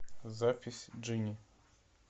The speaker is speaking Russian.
запись джинни